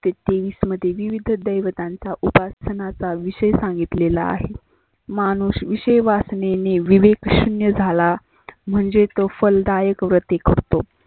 ते तेवीस मध्ये विवीद्ध देवतांचा उपासनाचा विषय सांगितलेला आहे. माणूस विषय वासनेने विवेक शुन्य झाला म्हणजे तो फलदायक व्रते करतो.